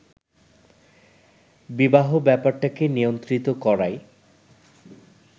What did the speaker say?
বিবাহ ব্যাপারটাকে নিয়ন্ত্রিত করাই